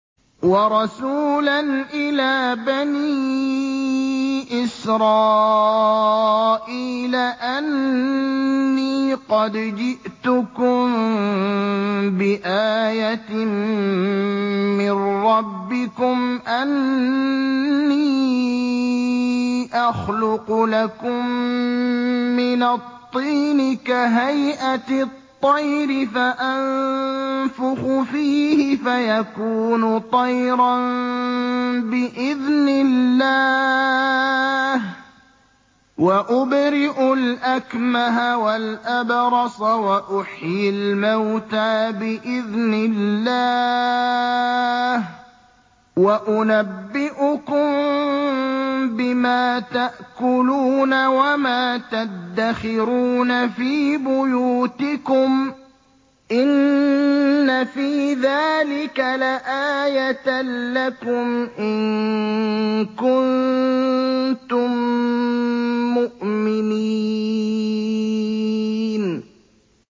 وَرَسُولًا إِلَىٰ بَنِي إِسْرَائِيلَ أَنِّي قَدْ جِئْتُكُم بِآيَةٍ مِّن رَّبِّكُمْ ۖ أَنِّي أَخْلُقُ لَكُم مِّنَ الطِّينِ كَهَيْئَةِ الطَّيْرِ فَأَنفُخُ فِيهِ فَيَكُونُ طَيْرًا بِإِذْنِ اللَّهِ ۖ وَأُبْرِئُ الْأَكْمَهَ وَالْأَبْرَصَ وَأُحْيِي الْمَوْتَىٰ بِإِذْنِ اللَّهِ ۖ وَأُنَبِّئُكُم بِمَا تَأْكُلُونَ وَمَا تَدَّخِرُونَ فِي بُيُوتِكُمْ ۚ إِنَّ فِي ذَٰلِكَ لَآيَةً لَّكُمْ إِن كُنتُم مُّؤْمِنِينَ